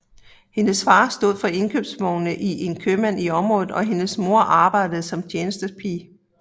Hendes far stod for indkøbsvogne i en købmand i området og hendes mor arbejdede som tjenestepige